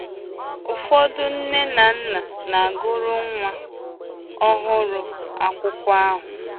Ụfọdụ nne na nna na-agụrụ nwa ọhụrụ ha akwụkwọ ahụ.